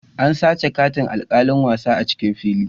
An sace katin alkalin wasan a'cikin fili.